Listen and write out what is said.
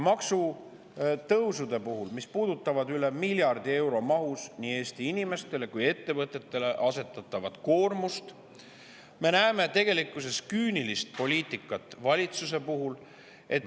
Maksutõusude puhul, mis puudutavad nii Eesti inimestele kui ka ettevõtetele asetatavat üle miljardi euro koormust, me näeme tegelikkuses valitsuse küünilist poliitikat.